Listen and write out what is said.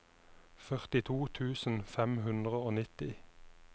førtito tusen fem hundre og nitti